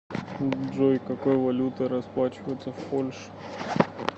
джой какой валютой расплачиваются в польше